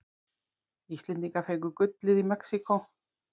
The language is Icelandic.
Íslendingar fengu gullið í Mexíkó